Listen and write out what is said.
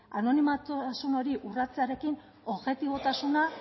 anonimotasun hori urratzearen objetibotasuna